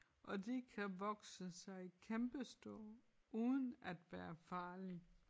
Og de kan vokse sig kæmpestore uden at være farlige